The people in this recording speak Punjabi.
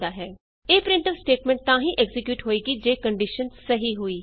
ਇਹ ਪ੍ਰਿੰਟਫ ਸਟੇਟਮੈਂਟ ਤਾਂ ਹੀ ਐਕਜ਼ੀਕਿਯੂਟ ਹੋਏਗੀ ਜੇ ਕੰਡੀਸ਼ਨ ਸਹੀ ਹੋਈ